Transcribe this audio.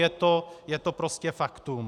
Je to prostě faktum.